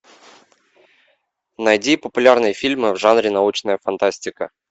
найди популярные фильмы в жанре научная фантастика